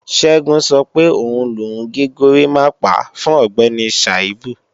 Ṣẹ́gun sọ pé òun lòun gé górimápá fún Ọ̀gbẹ́ni Sàíbù